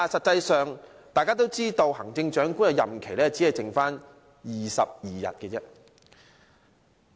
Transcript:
可是，大家都知道，行政長官的任期只餘下22天。